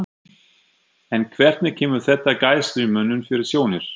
En hvernig kemur þetta Gæslumönnum fyrir sjónir?